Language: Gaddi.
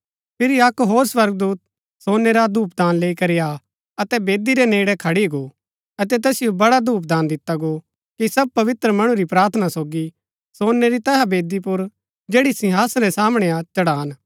फिरी अक्क होर स्वर्गदूत सोनै रा धूपदान लैई करी आ अतै वेदी रै नेड़ै खडी गो अतै तैसिओ बड्डा धूप दिता गो कि सब पवित्र मणु री प्रार्थना सोगी सोनै री तैहा वेदी पुर जैड़ी सिंहासन रै सामणै हा चढ़ान